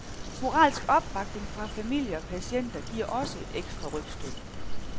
Moralsk opbakning fra familie og patienter giver også et ekstra rygstød.